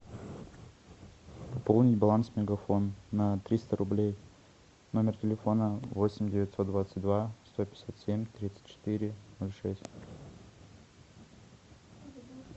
пополнить баланс мегафон на триста рублей номер телефона восемь девятьсот двадцать два сто пятьдесят семь тридцать четыре ноль шесть